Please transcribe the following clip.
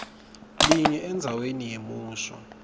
linye endzaweni yemusho